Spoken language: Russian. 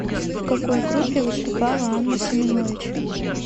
в какой группе выступала анна семенович